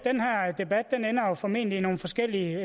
debat ender jo formentlig i nogle forskellige